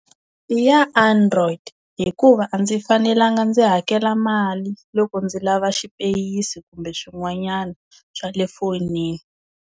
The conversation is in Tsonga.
I ya android hikuva a ndzi fanelanga ndzi hakela mali loko ndzi lava xipeyisi kumbe swin'wanyana swa le fonini.